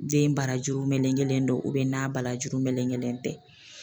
Den barajuru melegelen don n'a barajuru melegelen tɛ.